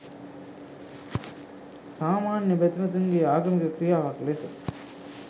සාමාන්‍ය බැතිමතුන්ගේ ආගමික ක්‍රියාවක් ලෙස